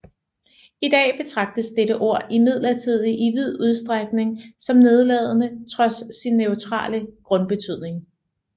I dag betragtes dette ord imidlertid i vid udstrækning som nedladende trods sin neutrale grundbetydning